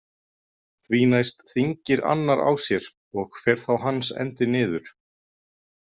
Því næst þýngir annar á sér og fer þá hans endi niður.